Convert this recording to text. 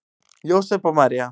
Jósep og María